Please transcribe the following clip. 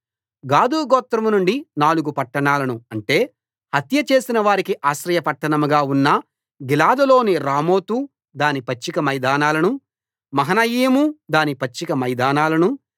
గాదు గోత్రం నుండి నాలుగు పట్టణాలను అంటే హత్యచేసిన వారికి ఆశ్రయ పట్టణంగా ఉన్న గిలాదులోని రామోతు దాని పచ్చిక మైదానాలనూ మహనయీము దాని పచ్చిక మైదానాలనూ